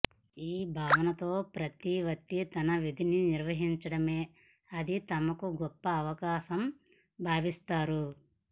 ఈ భావనతో ప్రతి వ్యక్తి తన విధిని నిర్వహించటమే అదే తమకు గొప్ప అవకాశంగా భావిసాతరు